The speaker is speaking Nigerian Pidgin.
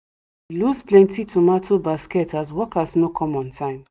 we lose plenty tomato basket as workers no come on time